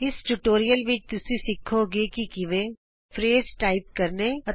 ਇਸ ਟਯੂਟੋਰਿਅਲ ਵਿਚ ਤੁਸੀਂ ਸਿੱਖੋਗੇ ਕਿ ਕਿਵੇਂ160 ਲ਼ਫ਼ਜ਼ ਟਾਈਪ ਕਰੀਏ